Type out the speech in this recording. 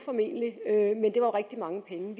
men det var rigtig mange penge